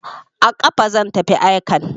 A kafa zan tafi aikan.